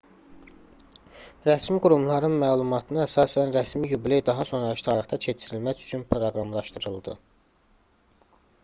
rəsmi qurumların məlumatına əsasən rəsmi yubiley daha sonrakı tarixdə keçirilmək üçün proqramlaşdırıldı